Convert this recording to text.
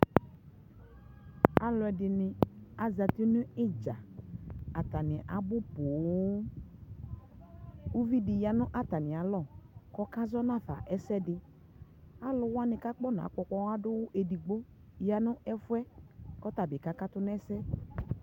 alʋɛdini azati nʋ itza, atani abʋ pɔɔɔm, ʋvi di yanʋ atami alɔ kʋ ɔkazɔnafa ɛsɛdi, alʋ wani kʋ aƒɔna kpɔ ɔkpɔa dʋwʋ ɛdigbɔ yanʋ ɛƒʋɛ kʋ ɔtabi kakatʋ nʋ ɛsɛ